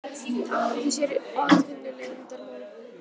Hagnýtti sér atvinnuleyndarmál